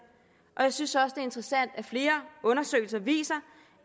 og jeg synes også er interessant at flere undersøgelser viser